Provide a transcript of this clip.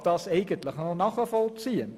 Ich kann das eigentlich nachvollziehen.